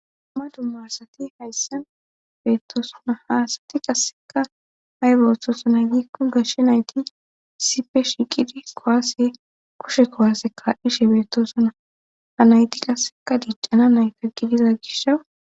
amma dummarsati haysse beettoosona haasati qasseka haybehoththosona yiikko gashshe nayti sipe shiqidi kowaase koshe kowaaseka ishe beettosuna ha nayti qasseka diiccana nayta gidiza gishawu